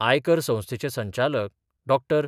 आयकर संस्थेचे संचालक डॉ.